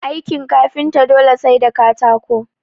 Aikin kafinta dole sai da katako